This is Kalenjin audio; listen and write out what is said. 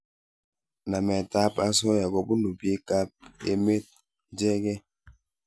Namet ab asoya kobunu piik ab emet ichekei